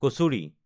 kachori